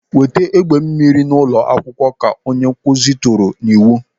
"Weta egbe mmiri n'ụlọ akwụkwọ!" Ka onye nkụzi tụrụ n'iwu.